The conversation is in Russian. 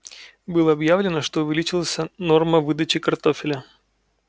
было объявлено что увеличился норма выдачи картофеля